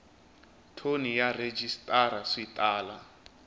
thoni na rhejisitara swi tala